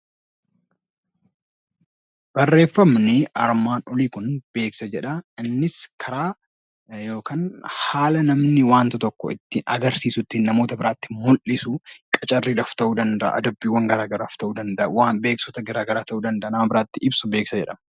Barreeffamni armaan olii kun beeksisa jedha. Innis karaa yookaan haala namni wanta tokko ittiin agarsiisu ittiin namoota biraatti mul'isu qacarriidhaaf ta'uu danda'a, adabbiiwwaan gara garaaf ta'uu danda'a waan beeksisoota gara garaa ta'uu danda'a nama biraatti ibsu beeksisa jedhama.